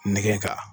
Nɛgɛn ka